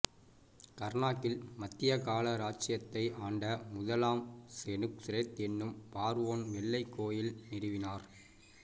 கர்னாக்கில் மத்தியகால இராச்சியத்தை ஆண்ட முதலாம் செனுஸ்ரெத் எனும் பார்வோன் வெள்ளைக் கோயில் நிறுவினார்